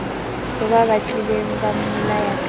ba batlileng ba mmolaya ka